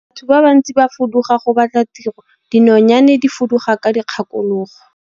Batho ba bantsi ba fuduga go batla tiro, dinonyane di fuduga ka dikgakologo.